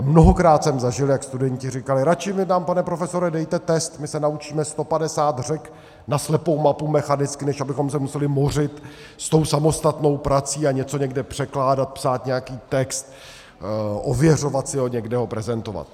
A mnohokrát jsem zažil, jak studenti říkali: radši mi tam, pane profesore, dejte test, my se naučíme 150 řek na slepou mapu mechanicky, než abychom se museli mořit s tou samostatnou prací a něco někde překládat, psát nějaký text, ověřovat si ho, někde ho prezentovat.